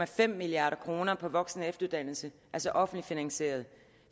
fem milliard kroner på voksen og efteruddannelse altså offentligt finansieret